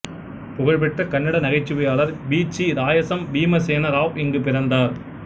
புகழ்பெற்ற கன்னட நகைச்சுவையாளர் பீச்சி ராயசம் பீமசேன ராவ் இங்கு பிறந்தார்